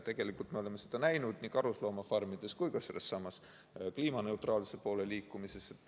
Tegelikult me oleme seda näinud nii karusloomafarmides kui ka sellessamas kliimaneutraalsuse poole liikumises.